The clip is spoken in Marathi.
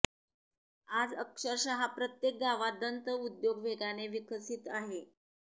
आज अक्षरशः प्रत्येक गावात दंत उद्योग वेगाने विकसित होत आहे